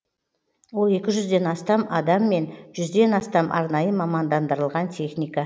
ол екі жүзден астам адам мен жүзден астам арнайы мамандандырылған техника